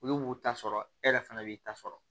Olu b'u ta sɔrɔ e yɛrɛ fana b'i ta sɔrɔ